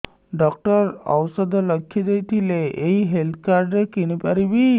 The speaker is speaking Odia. ଡକ୍ଟର ଔଷଧ ଲେଖିଦେଇଥିଲେ ଏଇ ହେଲ୍ଥ କାର୍ଡ ରେ କିଣିପାରିବି